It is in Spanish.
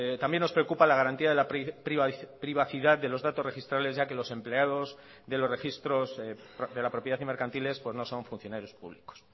también nos preocupa la garantía de la privacidad de los datos registrales ya que los empleados de los registros de la propiedad y mercantiles no son funcionarios públicos